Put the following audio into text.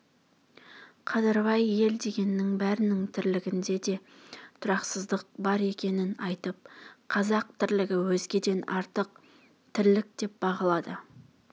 қадырбай ел дегеннің бәрінің тірлігінде де тұрақсыздық бар екенін айтып қазақ тірлігі өзгеден артық тірлік деп бағалады